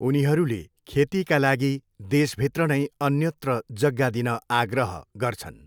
उनीहरूले खेतीका लागि देशभित्र नै अन्यत्र जग्गा दिन आग्रह गर्छन्।